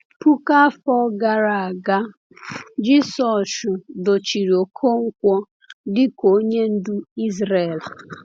Puku afọ gara aga, Jisọshụ dochiri Okonkwo dịka onye ndu Izrel.